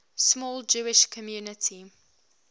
small jewish community